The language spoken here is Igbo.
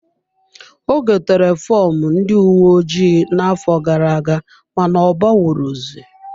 Ọ gotere fọmụ ndị uwe ojii na-afo gara-aga mana ọ banwu ro zi.